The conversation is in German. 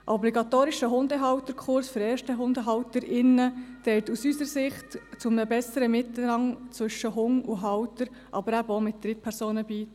Obligatorische Hundehalterkurse für Ersthundehalterinnen und -halter tragen aus unserer Sicht zu einem besseren Miteinander zwischen Hund und Halter, aber eben auch mit Drittpersonen bei.